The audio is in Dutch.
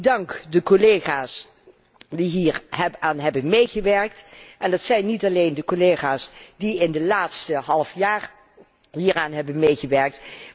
liggen. Ik dank de collega's die hieraan hebben meegewerkt en dat zijn niet alleen de collega's die het laatste halfjaar hieraan hebben